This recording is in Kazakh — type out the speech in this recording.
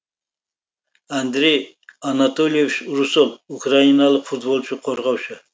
андрей анатольевич русол украиналық футболшы қорғаушы